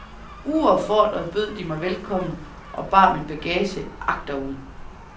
Uopfordret bød de mig velkommen og bar min bagage agterud.